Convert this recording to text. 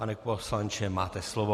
Pane poslanče, máte slovo.